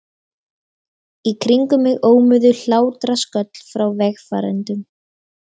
Í kringum mig ómuðu hlátrasköll frá vegfarendum.